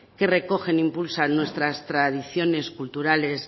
que recogen e impulsan nuestras tradiciones culturales